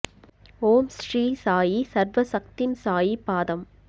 ஓம் ஸ்ரீ சாயி சர்வ சக்திம் சாயி பாதம்